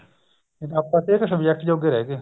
ਆਪਾਂ ਸਿਰਫ subject ਜੋਗੇ ਰਿਹਗੇ